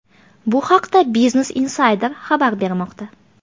Bu haqda Business Insider xabar bermoqda .